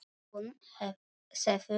Hún sefur niðri.